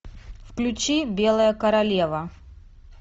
включи белая королева